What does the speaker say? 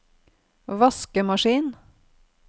vaskemaskin